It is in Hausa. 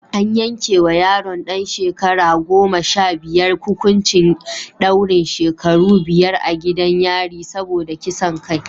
An yanke wa yaron ɗan shekara goma sha biyar hukuncin daurin shekaru biyar a gidan yari saboda kisan kai